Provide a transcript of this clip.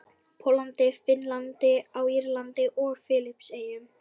Póllandi, Finnlandi, á Írlandi og Filippseyjum.